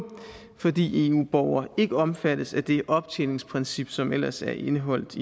fordi eu borgere ikke omfattes af det optjeningsprincip som ellers er indeholdt